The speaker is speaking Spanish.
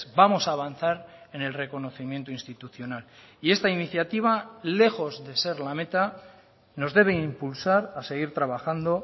vamos a avanzar en el reconocimiento institucional y esta iniciativa lejos de ser la meta nos debe impulsar a seguir trabajando